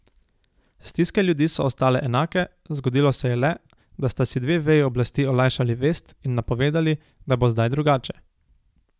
Stiske ljudi so ostale enake, zgodilo se je le, da sta si dve veji oblasti olajšali vest in napovedali, da bo zdaj drugače.